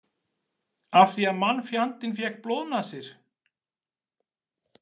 Af því að mannfjandinn fékk blóðnasir?